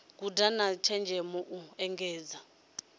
guda na tshenzhemo u engedza